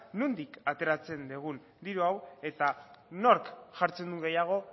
nondik ateratzen dugun diru hau eta nork jartzen duen gehiago